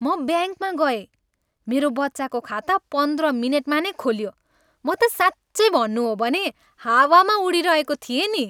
म ब्याङ्कमा गएँ, मेरो बच्चाको खाता पन्ध्र मिनेटमा नै खोलियो, म त साँच्चै भन्नु हो भने हावामा उडिरहेको थिएँ नि।